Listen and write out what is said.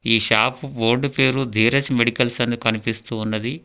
ఈ shop board పేరు Dheeraj medicals అని కనిపిస్తూ ఉన్నది.